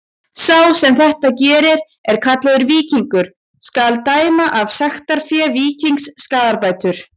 Sá sem þetta gerir er kallaður víkingur: skal dæma af sektarfé víkingsins skaðabætur.